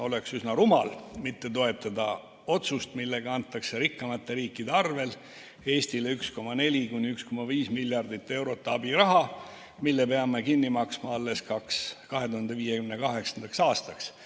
Oleks üsna rumal mitte toetada otsust, millega antakse rikkamate riikide arvel Eestile 1,4–1,5 miljardit eurot abiraha, mille peame kinni maksma alles 2058. aastaks.